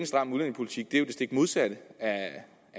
stram udlændingepolitik det er jo det stik modsatte af en